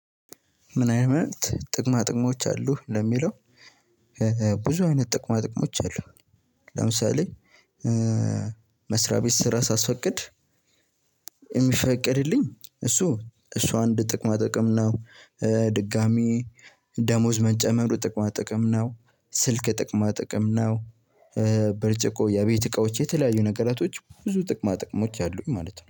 ምን አይነት ጥቅማ ጥቅሞች አሉህ? ለሚለው፣ ብዙ አይነት ጥቅማ ጥቅሞች አሉ። ለምሳሌ መስሪያ ቤት ስራ ሳስፈቅድ የሚፈቀድልኝ እሱ እሱ አንድ ጥቅማ ጥቅም ነው፣ ድጋሚ ደሞዝ መጨመሩ ጥቅማ ጥቅም ነው፣ ስልክ ጥቅማ ጥቅም ነው፣ ብርጭቆ የእቤት እቃዎች የተለያዩ ነገራቶች ብዙ ጥቅማ ጥቅሞች አሉኝ ማለት ነው።